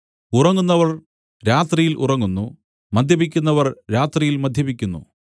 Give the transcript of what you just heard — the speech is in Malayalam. ഉറങ്ങുന്നവർ രാത്രിയിൽ ഉറങ്ങുന്നു മദ്യപിക്കുന്നവർ രാത്രിയിൽ മദ്യപിക്കുന്നു